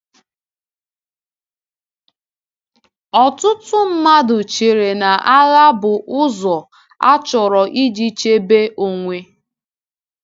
Ọtụtụ mmadụ chere na agha bụ ụzọ achọrọ iji chebe onwe.